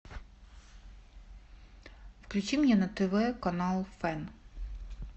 включи мне на тв канал фэн